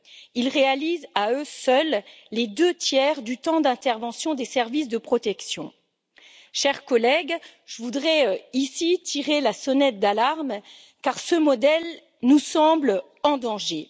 Ils réalisent à eux seuls les deux tiers du temps d'intervention des services de protection. Chers collègues, je voudrais ici tirer la sonnette d'alarme, car ce modèle nous semble en danger.